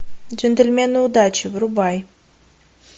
джентльмены удачи врубай